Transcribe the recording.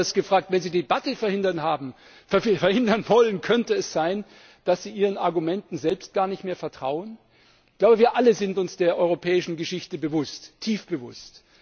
Oder anders gefragt Wenn Sie die Debatte verhindern wollen, könnte es sein, dass Sie Ihren Argumenten selbst gar nicht mehr vertrauen? Ich glaube, wir alle sind uns der europäischen Geschichte bewusst tief bewusst!